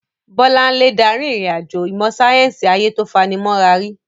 Bolanle darí ìrìn-àjò ìmọ̀ sáyẹ́sì ayé tó fani mọ́ra rí.